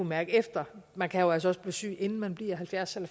mærke efter man kan jo altså også blive syg inden man bliver halvfjerds år